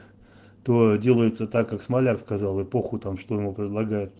делается так как смоляк сказал эпоху там что ему предлогают